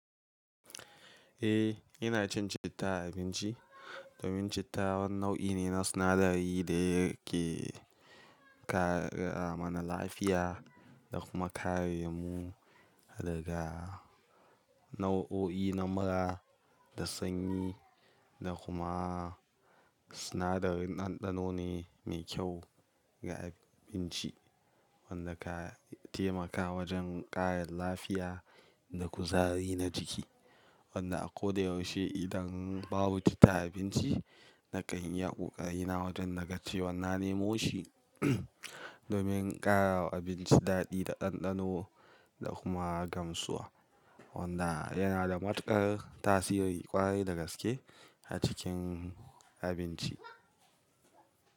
Eh, ina cin citta a abinci domin citta wani nau'i ne na sinadari da yake kare mana lafiya da kuma kare mu daga nau'o'i na mura da sanyi da kuma sinadarin ɗanɗano ne mai kyau ga abinci wanda ka taimaka wajen ƙara lafiya da kuzari na jiki. Wanda a ko da yaushe idan babu citta a abinci nakan iya ƙoƙari na wajen na gace wannan nemoshi domin ƙara wa abinci daɗi da ɗanɗano da kuma gamsuwa wanda yana da matuƙar tasiri ƙwarai da gaske a cikin abinci.